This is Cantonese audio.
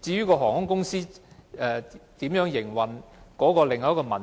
航空公司如何營運又是另一個問題。